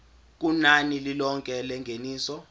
kunani lilonke lengeniso